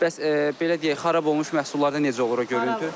Bəs belə deyək xarab olmuş məhsullarda necə olur o görüntü?